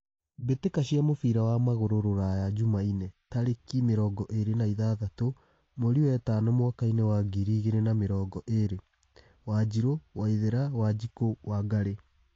Mbĩ tĩ ka cia mũbira wa magũrũ Ruraya Jumaine tarĩ ki mĩ rongo ĩ rĩ na ithathatũ mweri wetano mwakainĩ wa ngiri igĩ rĩ na mĩ rongo ĩ rĩ : Wanjiru, Waithera, Wanjiku, Wangari